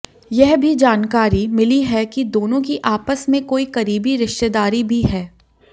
यह भी जानकारी मिली है कि दोनों की आपस में कोई करीबी रिश्तेदारी भी है